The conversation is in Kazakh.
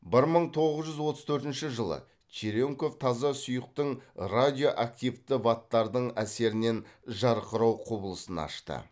бір мың тоғыз жүз отыз төртінші жылы черенков таза сұйықтың радиоактивті ваттардың әсерінен жарқырау құбылысын ашты